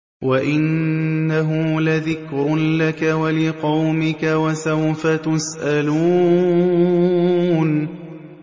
وَإِنَّهُ لَذِكْرٌ لَّكَ وَلِقَوْمِكَ ۖ وَسَوْفَ تُسْأَلُونَ